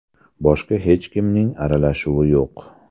Boshqa hech kimning aralashuvi yo‘q.